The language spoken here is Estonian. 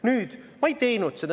Nüüd, ma ei teinud seda.